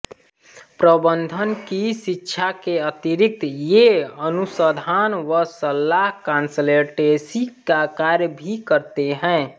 प्रबन्धन की शिक्षा के अतिरिक्त ये अनुसंधान व सलाह कांसल्टेंसी का कार्य भी करते हैं